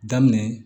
Daminɛ